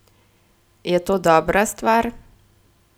Je to dobra stvar?